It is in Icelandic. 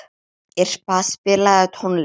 Irpa, spilaðu tónlist.